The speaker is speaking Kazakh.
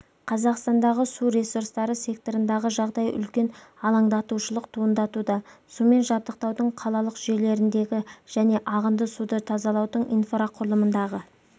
қазақстандағы су ресурстары секторындағы жағдай үлкен алаңдатушылық туындатуда сумен жабдықтаудың қалалық жүйелеріндегі және ағынды суды тазалаудың инфрақұрылымындағы